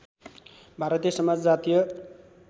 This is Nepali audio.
भारतीय समाज जातीय